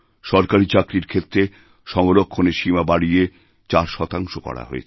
সরকারী চাকরিরক্ষেত্রে সংরক্ষণের সীমা বাড়িয়ে চার শতাংশ করা হয়েছে